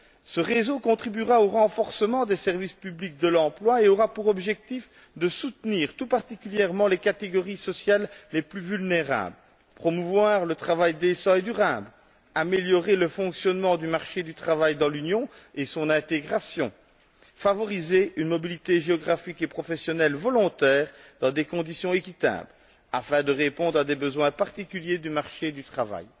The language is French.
Ce réseau contribuera au renforcement des services publics de l'emploi et aura pour objectif de soutenir tout particulièrement les catégories sociales les plus vulnérables, de promouvoir le travail décent et durable, d'améliorer le fonctionnement du marché du travail dans l'Union et son intégration, de favoriser une mobilité géographique et professionnelle volontaire dans des conditions équitables, afin de répondre à des besoins particuliers du marché du travail.